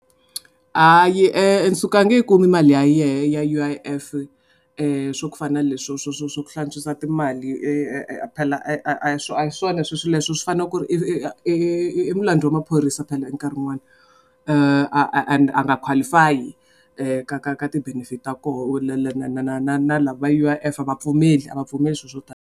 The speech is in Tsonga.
Hayi Nsuku a nge yi kumi mali ya yena ya U_I_F swa ku fana na leswi swo swo swo swo ku hlantswiwa timali phela a swo a hi swona sweswo leswi u swi fanele ku ri mulandzeli wa maphorisa phela nkarhi wun'wani and a nga qualify ka ka ka ka ti-benefit ta koho na lava va U_I_F a va pfumeli a va pfumeli swilo swo .